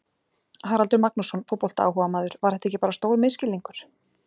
Haraldur Magnússon, fótboltaáhugamaður Var þetta ekki bara stór misskilningur?